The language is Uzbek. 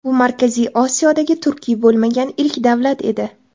Bu Markaziy Osiyodagi turkiy bo‘lmagan ilk davlat edi.